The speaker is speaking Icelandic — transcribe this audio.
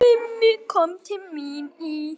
Mummi kom til mín í